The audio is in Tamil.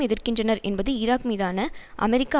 எதிர்க்கின்றனர் என்பது ஈராக் மீதான அமெரிக்க